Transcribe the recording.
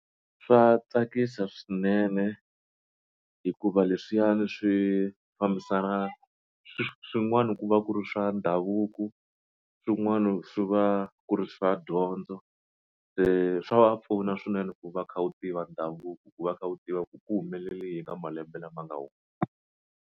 Swa tsakisa swinene hikuva leswiyani swi fambisan swin'wana ku va ku ri swa ndhavuko swin'wana swi va ku ri swa dyondzo se swa va pfuna swinene ku va u kha u tiva ndhavuko ku va u kha u tiva ku ku humelele yini ka malembe lama nga .